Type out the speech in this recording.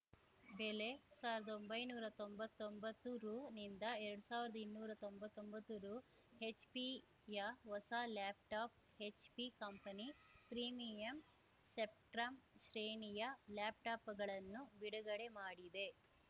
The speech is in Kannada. ಬೆಲೆ ಸಾವಿರ್ದಾ ಒಂಬೈನೂರಾ ತೊಂಬತ್ತೊಂಬತ್ತು ರು ನಿಂದ ಎರಡ್ ಸಾವಿರ್ದಾ ತೊಂಬತ್ತೊಂಬತ್ತು ರು ಹೆಚ್‌ಪಿಯ ಹೊಸ laptop HP company premium spectrum ಶ್ರೇಣಿಯ ಲ್ಯಾಪ್‌ಟಾಪ್‌ಗಳನ್ನು ಬಿಡುಗಡೆ ಮಾಡಿದೆ